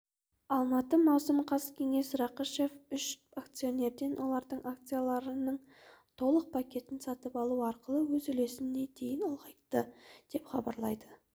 алматы маусым қаз кеңес рақышев үш акционерден олардың акцияларының толық пакетін сатып алу арқылы өз үлесін дейін ұлғайтты деп хабарлады